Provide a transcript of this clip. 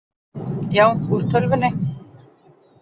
Já, úr tölvunni.